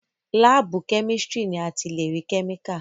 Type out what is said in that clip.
láàbù chemistry ni a ti lè rí chemical.